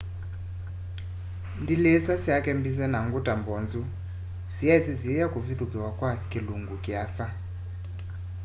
ndilisa syake mbize na nguta mbonzu siyaisyisiiya kũvithukĩwa kwa kĩlũngũ kĩasa